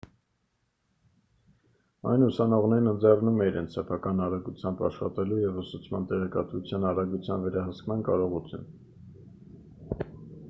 այն ուսանողներին ընձեռում է իրենց սեփական արագությամբ աշխատելու և ուսուցման տեղեկատվության արագության վերահսկման կարողություն